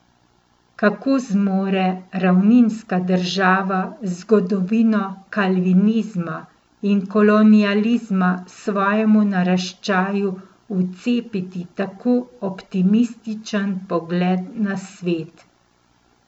Kako zmore ravninska država z zgodovino kalvinizma in kolonializma svojemu naraščaju vcepiti tako optimističen pogled na svet?